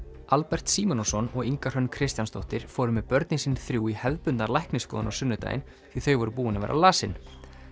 Albert Símonarson og Inga Hrönn Kristjánsdóttir fóru með börnin sín þrjú í hefðbundna læknisskoðun á sunnudaginn því þau voru búin að vera lasin